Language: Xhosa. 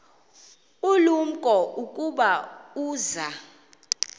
ulumko ukuba uza